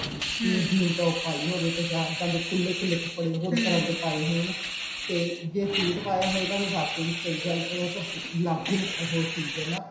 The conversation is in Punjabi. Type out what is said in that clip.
jean top ਪਾਈ ਹੋਵੇ ਤੇ ਜਾਂ ਸਾਡੇ ਖੁੱਲੇ ਖੁੱਲੇ ਕੱਪੜੇ ਹੋਰ ਤਰ੍ਹਾਂ ਦੇ ਪਾਏ ਹੋਣ ਤੇ ਜੇ suit ਪਾਇਆ ਹੋਏਗਾ ਤਾਂ ਵਾਕਏ ਸਹੀ ਗੱਲ ਹੈ ਲੱਗ ਹੀ ਉਹ ਚੀਜ਼ ਹੈ ਨਾ